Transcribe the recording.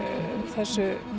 þessu